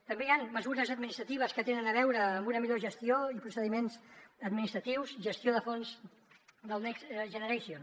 també hi han mesures administratives que tenen a veure amb una millor gestió i procediments administratius gestió de fons del next generation